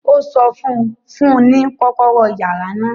Ó sọ fún un; fún un ní kọ́kọ́rọ́ yàrá náà